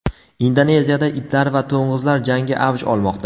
Indoneziyada itlar va to‘ng‘izlar jangi avj olmoqda.